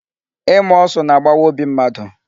Ịma ọsụ na-agbawa obi mmadụ.